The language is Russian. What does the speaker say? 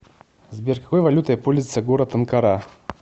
сбер какой валютой пользуется город анкара